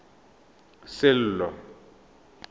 sello